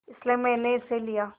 इसलिए मैंने इसे लिया